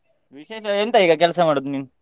ವಿಶೇಷ ಎಂತ ಈಗ ಕೆಲ್ಸ ಮಾಡುದು ನೀನು?